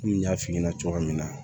Komi n y'a f'i ɲɛna cogoya min na